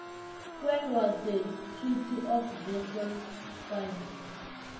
when was the treaty of versailles signed